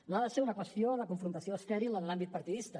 no ha de ser una qüestió de confrontació estèril en l’àmbit partidista